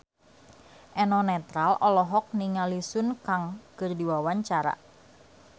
Eno Netral olohok ningali Sun Kang keur diwawancara